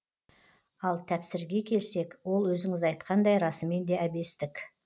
ал тәпсірге келсек ол өзіңіз айтқандай расымен де әбестік